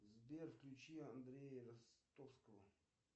сбер включи андрея ростовского